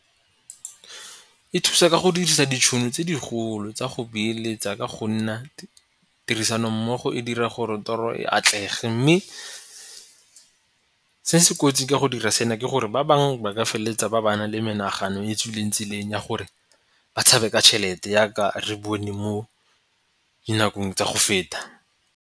E thusa ka go dirisa ditšhono tse digolo tsa go beeletsa ka go nna, tirisano mmogo e dira gore tiro e atlege mme, se se kotsi ka go dira sena ke gore ba bangwe ba feleletsa ba ba na le menagano e tswileng tseleng ya gore ba tshabe ka tšhelete yaka re bone mo dinakong tsa go feta.